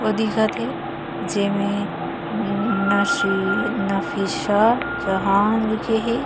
ओ दिखत हे जेमे नन नसी नफीसा जहान लिखे हे।